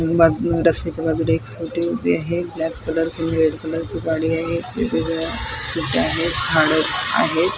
अ बा रस्त्याच्या बाजूला एक स्कूटी उभी आहे ब्लॅक कलर रेड कलर ची गाडी आहे स्कूट्या आहेत झाडं आहेत.